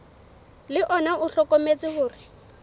le ona o hlokometse hore